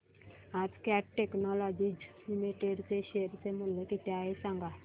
आज Cat Technologies Limited चे share चे मूल्य किती आहे सांगा